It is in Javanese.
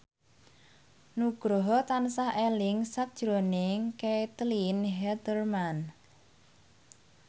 Nugroho tansah eling sakjroning Caitlin Halderman